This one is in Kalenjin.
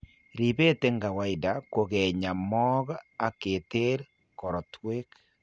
Ribeet eng' kawaida kokinya mook ak keter korotwek